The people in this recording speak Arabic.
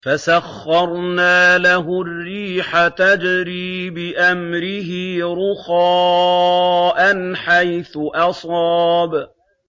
فَسَخَّرْنَا لَهُ الرِّيحَ تَجْرِي بِأَمْرِهِ رُخَاءً حَيْثُ أَصَابَ